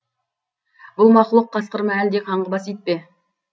бұл мақұлық қасқыр ма әлде қаңғыбас ит пе